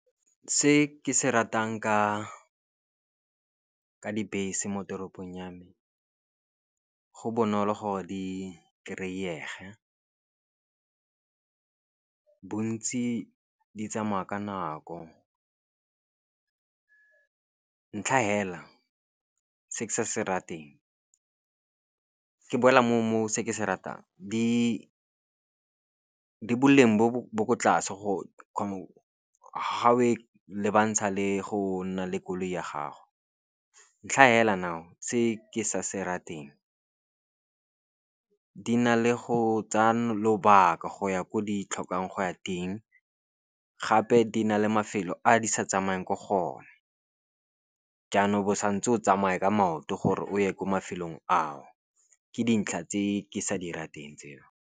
Se ke se ratang ka dibese mo toropong ya me go bonolo gore di kry-ege, bontsi di tsamaya ka nako. Ntlha fela se ke sa se rateng ke boela mo se ke se ratang, di boleng bo ko tlase ga o e lebantsha le go nna le koloi ya gago. Ntlha fela now se ke sa se rateng, di na le go tsaya lobaka go ya ko di tlhokang go ya teng. Gape di na le mafelo a di sa tsamayang ko go ne. Jaanong bo sa ntse o tsamaya ka maoto gore o ye ko mafelong ao, ke dintlha tse ke sa di rateng tseo.